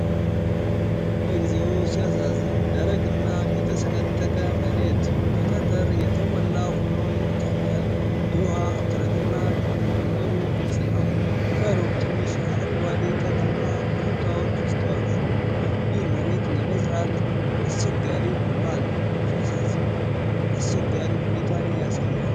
እግዚኦ ሲያሳዝን! ደረቅና የተሰነጠቀ መሬት በጠጠር የተሞላ ሆኖ ይታያል። የውሃ እጥረትና ድርቅ መኖሩ ግልጽ ነው። ከሩቅ ትንሽ አረንጓዴ ተክልና ኮረብታዎች ይስተዋላሉ። ይህ መሬት ለመዝራት አስቸጋሪ ሆኗል፣ ሲያሳዝን! አስቸጋሪ ሁኔታን ያሳያል!